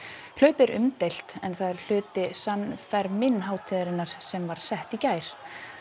hlaupið er umdeilt en það er hluti San hátíðarinnar sem var sett í gær